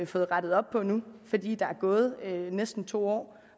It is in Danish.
fået rettet op på nu fordi der er gået næsten to år